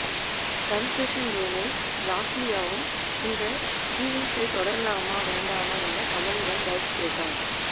confession ரூமில் லாஸ்லியாவும் இந்த ஃபீலிங்ஸை தொடரலாமா வேண்டாமா என கமலிடம் ட்வுட் கேட்டார்